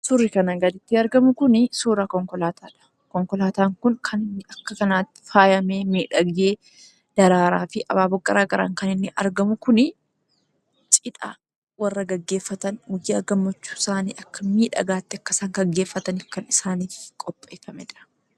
Suurri kanaa gaditti argamu kun suuraa konkolaataadha. Konkolaataan kun kan inni akka kanaatti faayamee, miidhagee daraaraafi abaaboo garagaraan kan inni argamu kun cidha warra gaggeefatan guyyaa gammachuusaanii akka miidhagaatti akka isaan gaggeeffataniif kan isaaniif qopheeffamedha.